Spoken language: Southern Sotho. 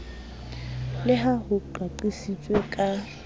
le ha ho qaqisitswe ka